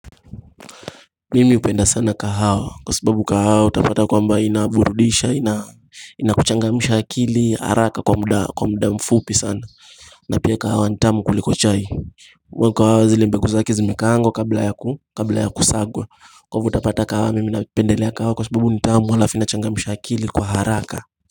Mimi hupenda sana kahawa kwa sababu kahawa utapata kwamba inaburudisha inakuchangamsha akili haraka kwa muda mfupi sana na pia kahawa ni tamu kuliko chai mbegu zile mbegu zake zimekaangwa kabla ya kusagwa kwa hivi utapata kahawa mimi napendelea kahawa kwa sababu nitamu halafu inachangamsha akili kwa haraka.